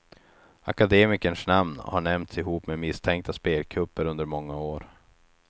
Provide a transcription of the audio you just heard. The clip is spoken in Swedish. Akademikerns namn har nämnts ihop med misstänkta spelkupper under många år.